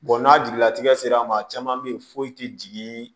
n'a jigilatigɛ sera a ma caman bɛ yen foyi tɛ jigin